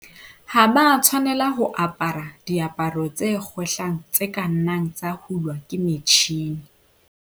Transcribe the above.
Ha ba a tshwanela ho apara diaparo tse kgwehlang tse ka nnang tsa hulwa ke metjhine.